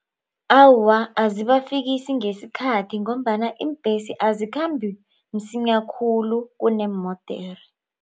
Awa azibafikisi ngesikhathi ngombana iimbhesi azikhambi msinya khulu kuneemodere.